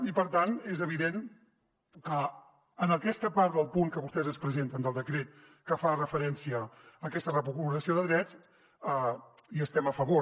i per tant és evident que en aquesta part del punt que vostès ens presenten del decret que fa referència a aquesta recuperació de drets hi estem a favor